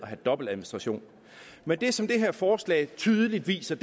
have dobbeltadministration men det som det her forslag tydeligt viser